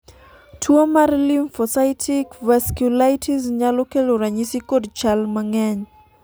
tuo mar Lymphocytic vasculitis nyalo kelo ranyisi kod chal mang'eny